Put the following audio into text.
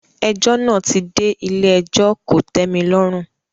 Ẹjọ́ náà ti dé ilé-ẹjọ́ kò tẹ́mi lọ́rùn.